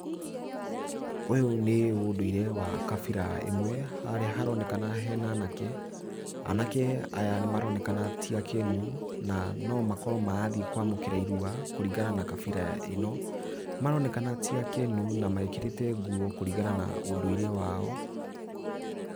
Ũyũ nĩ ũndũire wa kabira ĩmwe, harĩa haronekana hena anake, anake aya nĩ maronekana ti akenu na no makorwo marathiĩ kwamũkĩra irua kũringana na kabira ĩno, maronekana ti akenu, na mekĩrĩte nguo kũringana na ũndũire wao.